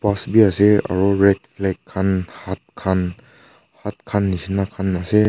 bus bi ase aro red flag khan hut hut khan neshina bi ase.